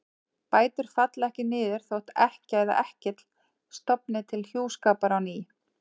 Bætur falla ekki niður þótt ekkja eða ekkill stofni til hjúskapar á ný.